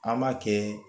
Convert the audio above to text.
An b'a kɛ